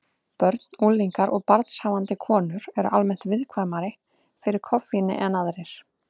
Börn, unglingar og barnshafandi konur eru almennt viðkvæmari fyrir koffíni en aðrir.